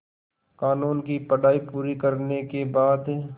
क़ानून की पढा़ई पूरी करने के बाद